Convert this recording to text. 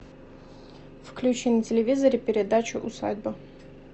включи на телевизоре передачу усадьба